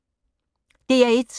DR1